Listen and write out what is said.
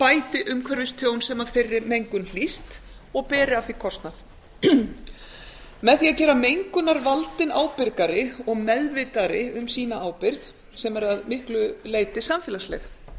bæti umhverfistjón sem af þeirri mengun hlýst og beri af því kostnað með því má gera mengunarvaldinn ábyrgari og meðvitaðri um ábyrgð sína sem er að miklu leyti samfélagsleg